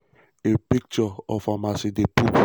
ai picture of am as di pope.